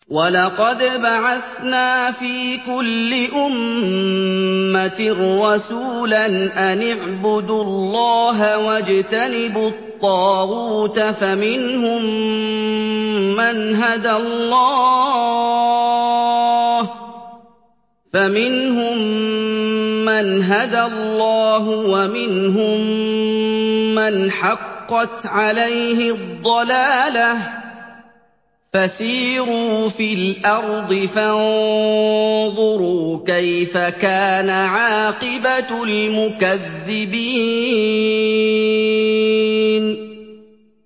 وَلَقَدْ بَعَثْنَا فِي كُلِّ أُمَّةٍ رَّسُولًا أَنِ اعْبُدُوا اللَّهَ وَاجْتَنِبُوا الطَّاغُوتَ ۖ فَمِنْهُم مَّنْ هَدَى اللَّهُ وَمِنْهُم مَّنْ حَقَّتْ عَلَيْهِ الضَّلَالَةُ ۚ فَسِيرُوا فِي الْأَرْضِ فَانظُرُوا كَيْفَ كَانَ عَاقِبَةُ الْمُكَذِّبِينَ